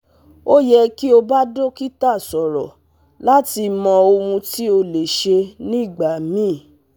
O yẹ ki o ba dokita sọrọ lati mọ ohun ti o le ṣe nigbamii